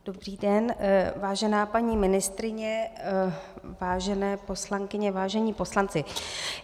Dobrý den, vážená paní ministryně, vážené poslankyně, vážení poslanci.